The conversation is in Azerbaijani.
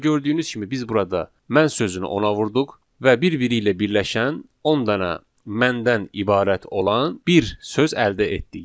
Və gördüyünüz kimi biz burada mən sözünü ona vurduq və bir-biri ilə birləşən 10 dənə məndən ibarət olan bir söz əldə etdik.